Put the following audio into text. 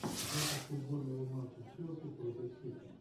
запись футбольного матча челси против сити